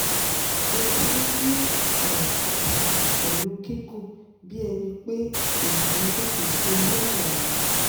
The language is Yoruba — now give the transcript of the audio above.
Mo ti ni aya tita pẹ̀lú gigun bí ẹni pé ènìyàn jókòó si orí aya mi